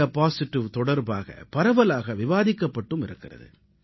India positive தொடர்பாக பரவலாக விவாதிக்கப்பட்டும் இருக்கிறது